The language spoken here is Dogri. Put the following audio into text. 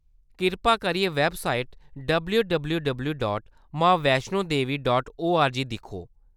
किरपा करियै website W W W dot Maa Vaishno Devi dot ORG दिक्खो।